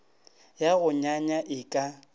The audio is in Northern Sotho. ya go nyanya e ka